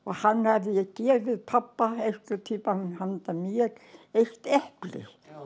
hann hafði gefið pabba einhvern tímann handa mér eitt epli